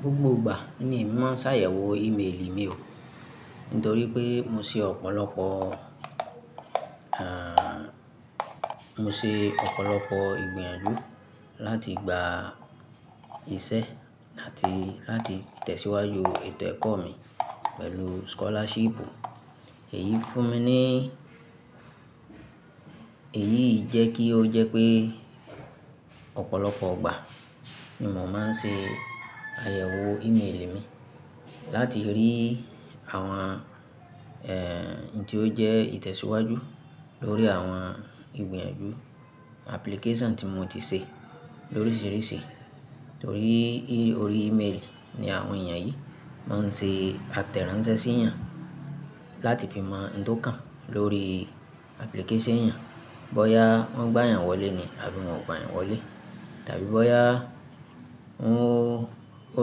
Gbogbo ìgbà ni mo máa ń ṣàyẹ̀wò ìméèlì mi o, nítorí pé mo ṣe ọ̀pọ̀lọpọ̀, à, mo ṣe ọ̀pọ̀lọpọ̀ ìgbìyànjú láti gba iṣẹ́ àti láti tẹ̀síwájú ètò ẹ̀kọ́ mi pẹ̀lú scholarship. Èyí fún mi ní, èyí jẹ́ kí ó jẹ́ pé ọ̀pọ̀lọpọ̀ ìgbà ni mò máa ń ṣe àyẹ̀wò ìméèlì mi láti rí àwọn, ẹ, tí ó jẹ́ ìtẹ̀síwájú lórí àwọn ìgbìyànjú application tí mo ti ṣe lóríṣiríṣi. Nítorí orí email ni àwọn èèyàn yìí máa ń ṣe àtẹ̀ránsẹ́ sí èèyàn láti fi mọ ohun tí ó kàn lórí application èèyàn, bóyá wọ́n gbá èèyàn wọlé ni àbí wọ́n kò gba èèyàn wọlé, tàbí bóyá